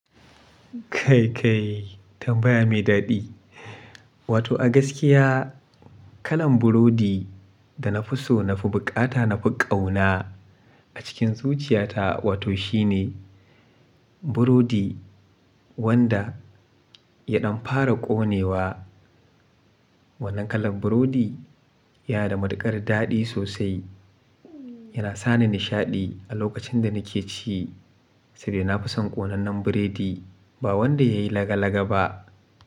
Kai kai tambaya mai daɗi. Wato a gaskiya kalan burodi da na fi so, na fi bukata, na fi ƙauna a cikin zuciyata, wato shi ne burodi wanda ya ɗan fara ƙonewa. Wannan kalan burodi ya da matuƙar daɗi sosai. Yana sani nishaɗi a lokacin da nake ci saboda nafi son ƙonannen biredi ba wanda ya yi laga laga ba.